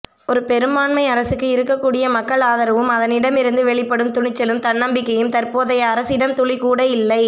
ஒரு பெரும்பான்மை அரசுக்கு இருக்கக் கூடிய மக்கள் ஆதரவும் அதனிடமிருந்து வெளிப்படும் துணிச்சலும் தன்னம்பிக்கையும் தற்போதைய அரசிடம் துளிக்கூட இல்லை